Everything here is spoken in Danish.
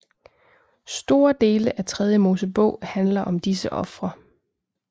Store dele af Tredje Mosebog handler om disse ofre